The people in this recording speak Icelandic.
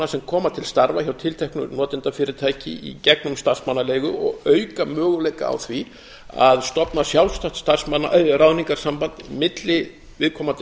sem koma til starfa til tilteknu notendafyrirtæki í gegnum starfsmannaleigu og auka möguleika á því að stofna sjálfstætt ráðningarsamband milli viðkomandi